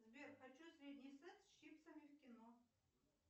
сбер хочу средний сет с чипсами в кино